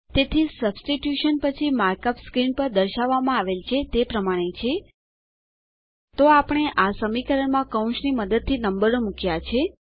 તેથી સબસ્ટીટ્યુશન પછી markup screen પર દર્શાવવામાં આવેલ છે તે પ્રમાણે છે160 તો આપણે આ સમીકરણ માં કૌંસની મદદથી નંબરો મુક્યા છે